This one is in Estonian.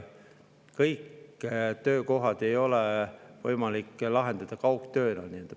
Kõigis töökohtades ei ole kaugtöö võimalik lahendus.